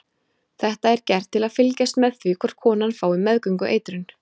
Þetta er gert til að fylgjast með því hvort konan fái meðgöngueitrun.